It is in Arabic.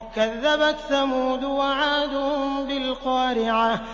كَذَّبَتْ ثَمُودُ وَعَادٌ بِالْقَارِعَةِ